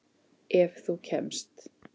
Ef þú kemst?